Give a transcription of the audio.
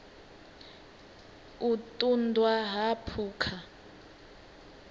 u ṱun ḓwa ha phukha